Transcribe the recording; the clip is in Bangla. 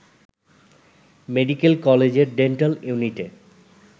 মেডিকেল কলেজের ডেন্টাল ইউনিটে